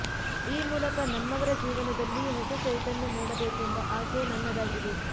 ಈ ಮೂಲಕ ನಮ್ಮವರ ಜೀವನದಲ್ಲಿ ಹೊಸ ಚೈತನ್ಯ ಮೂಡಬೇಕೆಂಬ ಆಸೆ ನನ್ನದಾಗಿದೆ